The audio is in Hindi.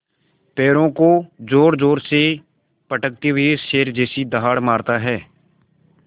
पैरों को ज़ोरज़ोर से पटकते हुए शेर जैसी दहाड़ मारता है